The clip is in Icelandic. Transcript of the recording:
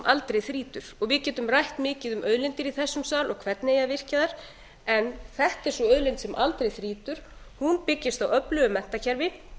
aldrei þrýtur og við getum rætt mikið um auðlindir í þessum sal og hvernig eigi að virkja þær en þetta er sú auðlind sem aldrei þrýtur hún byggist á öflugu menntakerfi